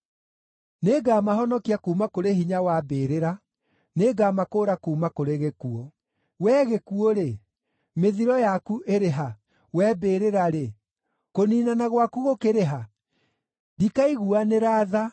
“Nĩngamahonokia kuuma kũrĩ hinya wa mbĩrĩra; nĩngamakũũra kuuma kũrĩ gĩkuũ. Wee gĩkuũ-rĩ, mĩthiro yaku ĩrĩ ha? Wee mbĩrĩra-rĩ, kũniinana gwaku gũkĩrĩ ha? “Ndikaiguanĩra tha,